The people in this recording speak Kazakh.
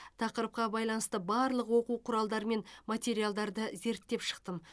тақырыпқа байланысты барлық оқу құралдары мен материалдарды зерттеп шықтым